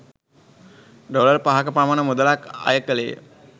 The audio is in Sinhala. ඩොලර් පහක පමණ මුදලක් අය කෙළේය.